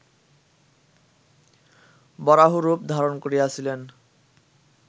বরাহরূপ ধারণ করিয়াছিলেন